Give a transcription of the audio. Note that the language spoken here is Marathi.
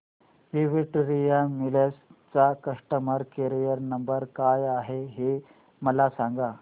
विक्टोरिया मिल्स चा कस्टमर केयर नंबर काय आहे हे मला सांगा